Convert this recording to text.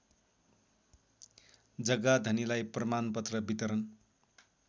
जग्गाधनीलाई प्रमाणपत्र वितरण